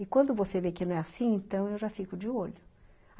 E quando você vê que não é assim, então eu já fico de olho.